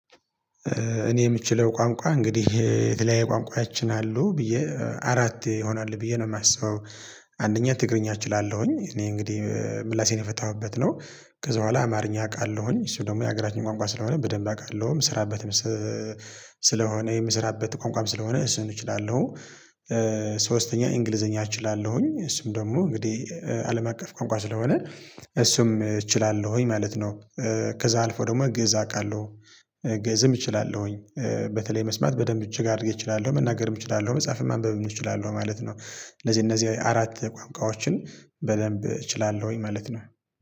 እኔ የምችለው ቋንቋ እንግዲህ የተለያየ ቋንቋያችን አሉ ብዬ አራት ይሆናል ብዬ ነው የማስበው። አንደኛ ትግርኛ እችላለሁኝ እኔ እንግዲህ ምላሴን የፈታሁበት ነው። ከዛ በኋላ አማርኛ አውቃለሁኝ እሱ ደግሞ የሀገራችን ቋንቋ ስለሆነ በደንብ አውቃለሁም ምሰራበትም ስለሆነ የምሰራበት ቋንቋም ስለሆነ እሱን እችላለሁ። ሶስተኛ እንግሊዘኛ እችላለሁኝ እሱም ደግሞ እንግዲህ አለም አቀፍ ቋንቋ ስለሆነ እሱም እችላለሁኝ ማለት ነው። ከዛ አልፎ ደግሞ ግእዝ አውቃለሁ። ግእዝም እችላለሁኝ በተለይ መስማት በደንብ እጅግ አድርጌ እችላለሁ መናገርም እችላለሁ መጽሐፍም ማንበብም እችላለሁ ማለት ነው። እነዚህ እነዚህ አራት ቋንቋዎችን በደንብ እችላለሁኝ ማለት ነው